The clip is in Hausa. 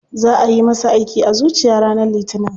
Za ayi masa aiki a zuciya ranar litinin.